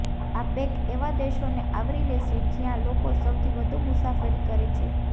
આ પેક એવા દેશોને આવરી લેશે જ્યાં લોકો સૌથી વધુ મુસાફરી કરે છે